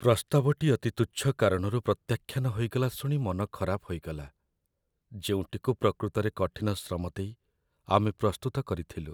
ପ୍ରସ୍ତାବଟି ଅତି ତୁଚ୍ଛ କାରଣରୁ ପ୍ରତ୍ୟାଖ୍ୟାନ ହୋଇଗଲା ଶୁଣି ମନ ଖରାପ ହୋଇଗଲା, ଯେଉଁଟିକୁ ପ୍ରକୃତରେ କଠିନ ଶ୍ରମ ଦେଇ ଆମେ ପ୍ରସ୍ତୁତ କରିଥିଲୁ।